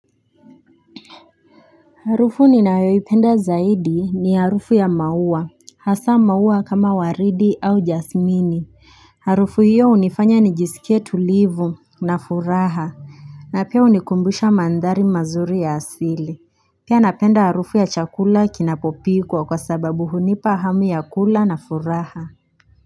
Harufu ninayoipenda zaidi ni harufu ya maua hasa maua kama waridi au jasmini Harufu hiyo hunifanya nijisikie tulivu na furaha na pia hunikumbusha mandhari mazuri ya asili Pia napenda harufu ya chakula kinapopikwa kwa sababu hunipa hamu ya kula na furaha.